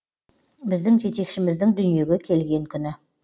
біздің жетекшіміздің дүниеге келген күні